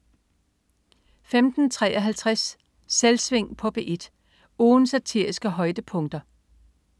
15.53 Selvsving på P1. Ugens satiriske højdepunkter